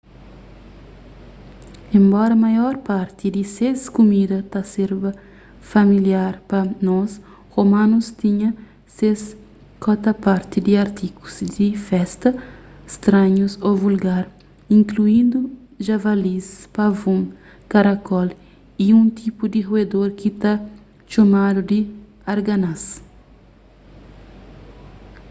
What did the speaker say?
enbora maior parti di ses kumida ta serba familiar pa nos romanus tinha ses kota-parti di artigus di festa stranhus ô invulgar inkluindu javalis pavon karacól y un tipu di ruedor ki ta txomadu di arganaz